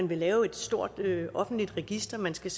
vil lave et stort offentligt register man skal